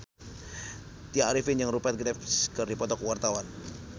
Tya Arifin jeung Rupert Graves keur dipoto ku wartawan